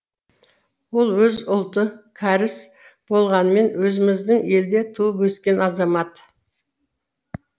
ол өзі ұлты кәріс болғанымен өзіміздің елде туып өскен азамат